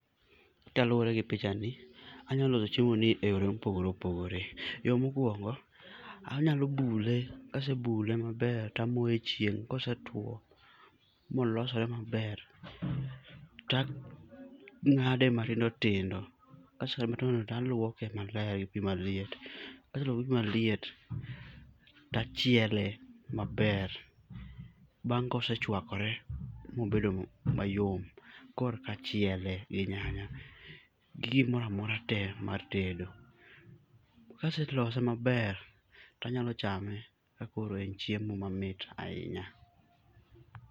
Kaluwore gi pichani, anyalo loso chiemoni eyore mopogore opogore. Yo mokuongo, anyalo bule, kasebule maber, to amoye echieng'. Kosetuo molosore maber, to ang'ade matindo tindo. Kase ngade matindo tindo to aluoke malergi pi maliet. Kaseluoke gipi maliet to achiele maber. Bang' kose chuakore mobedo mayom korka achiele gi nyanya gi gimoro amora tee mar tedo. Kase lose maber to anyalo chame ka koro en chiemo mamit ahinya.